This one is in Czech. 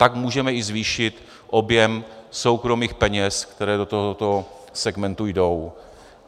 Tak můžeme i zvýšit objem soukromých peněz, které do tohoto segmentu jdou.